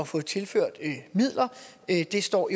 få tilført midler det står